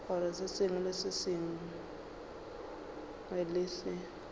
gore se sengwe le se